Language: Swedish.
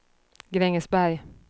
Grängesberg